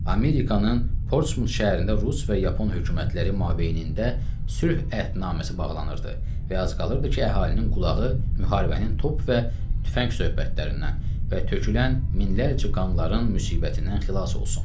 Amerikanın Portsmut şəhərində rus və yapon hökumətləri mabeynində sülh əhdnaməsi bağlanırdı və az qalırdı ki, əhalinin qulağı müharibənin top və tüfəng söhbətlərindən və tökülən minlərcə qanların müsibətindən xilas olsun.